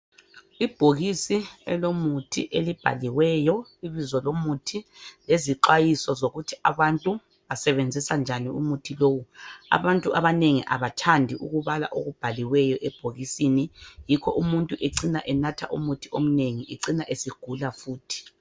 Ibhokisi elomuthi elibhaliweyo ibizo lomuthi elilezixwayiso zokuthi abantu basebenzisa njani umuthi lowu abantu abanengi abathandi ukubala okubhaliweyo ebhokisini yikho umuntu ecina enatha umuthi omnengi ecina esegula futhi.